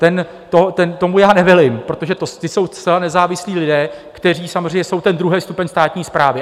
Tomu já nevelím, protože to jsou zcela nezávislí lidé, kteří samozřejmě jsou ten druhý stupeň státní správy.